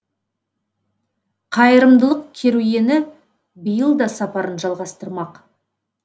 қайырымдылық керуені биыл да сапарын жалғастырмақ